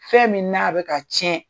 Fɛn min n'a bɛ ka tiɲɛ